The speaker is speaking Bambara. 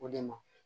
O de ma